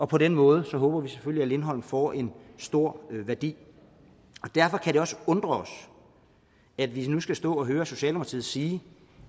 på den måde håber vi selvfølgelig at lindholm får en stor værdi derfor kan det også undre os at vi nu skal stå og høre socialdemokratiet sige